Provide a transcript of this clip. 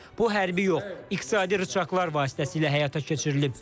Bu hərbi yox, iqtisadi rıçaqlar vasitəsilə həyata keçirilib.